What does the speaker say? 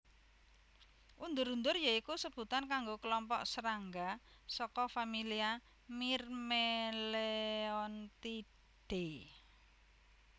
Undur undur ya iku sebutan kanggo klompok srangga saka familia Myrmeleontidae